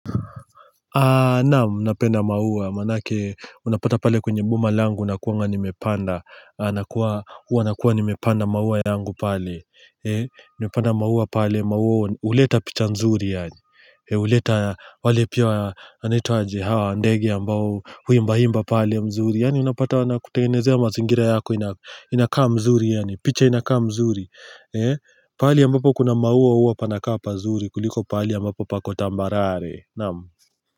Naam, napenda maua, manake unapata pale kwenye boma langu nakuwanga nimepanda huwa nakuwa nimepanda maua yangu pale, nimepanda maua pale, maua huleta picha mzuri yaani huleta, wale pia, wanaitwa aje, hawa, ndege ambao, huimba imba pale mzuri yaani unapata wanaku tenengenezea mazingira yako, inakaa mzuri yaani, picha inakaa mzuri Pahali ambapo kuna maua huwa panakaa pazuri, kuliko pahali ambapo pako tambarare, naam.